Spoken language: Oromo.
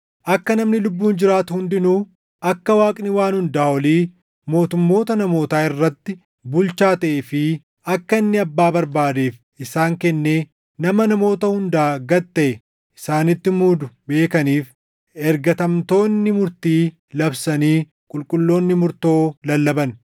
“ ‘Akka namni lubbuun jiraatu hundinuu akka Waaqni Waan Hundaa Olii mootummoota namootaa irratti bulchaa taʼee fi akka inni abbaa barbaadeef isaan kennee nama namoota hundaa gad taʼe isaanitti muudu beekaniif ergatamtoonni murtii labsanii qulqulloonni murtoo lallaban.’